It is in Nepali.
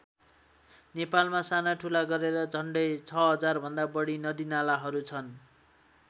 नेपालमा साना ठुला गरेर झन्डै ६००० भन्दा बढी नदीनालाहरू छन्।